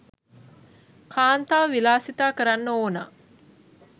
කාන්තාව විලාසිතා කරන්න ඕනා